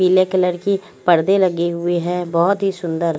पीले कलर की पर्दे लगे हुए है बहुत ही सुंदर।